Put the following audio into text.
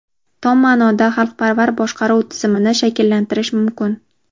tom maʼnoda xalqparvar boshqaruv tizimini shakllantirish mumkin.